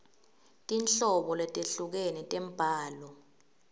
tinhlobo letehlukene tembhalo